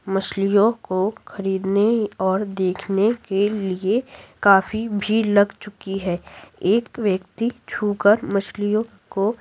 मछलियों को खरीदने और देखने के लिए काफी भीड़ लग चुकी है एक व्यक्ति छूकर मछलियों को --